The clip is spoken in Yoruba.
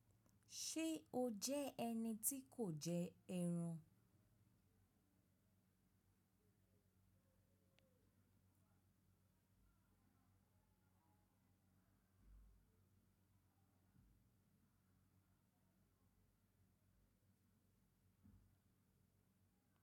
Ṣe o jẹ ẹni ti ko jẹ ẹran?